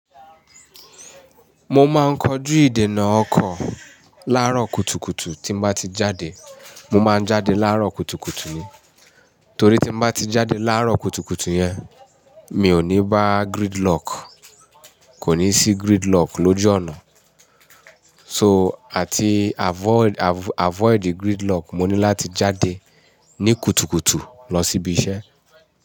Mo máa ń kọjú ìdènà ọkọ̀ láàárọ̀ kùtùkùtù tí n bá ti jáde. Mo máa ń jáde láàárọ̀ kùtùkùtù ni. Torí tí mo bá ti jáde láàárọ̀ kùtùkùtù yẹn, mi ò ní bá gridlock, kò ní sí gridlock lójú ọ̀nà. So, àti avoid, avoid gridlock, mo ní láti jáde ní kùtùkùtù lọ síbi iṣẹ́.